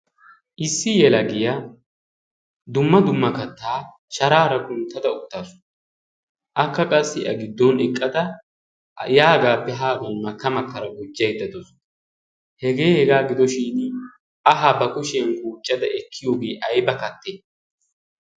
Issi yelagiyaa dumma dumma kattaa sharaara kunttada uttaasu akka qassi a giddon eqqada yaagaappe haagan makka makkara gujjaiddatoosu hegee hegaa gidoshin ahaa ba kushiyan kuuchcada ekkiyoogee ai bakatte?